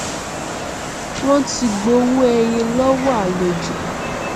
wọn ti gbowó ẹyìn lọwọ àlejò